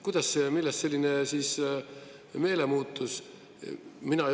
Kuidas see ja millest selline meelemuutus?